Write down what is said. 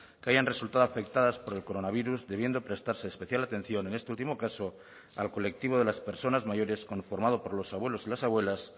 que hayan resultado afectadas por el coronavirus debiendo prestarse especial atención en este último caso al colectivo de las personas mayores conformado por los abuelos y las abuelas